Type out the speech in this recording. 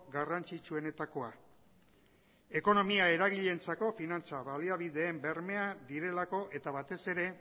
garrantzitsuenetakoa ekonomia eragileentzako finantza baliabideen bermea direlako eta batez ere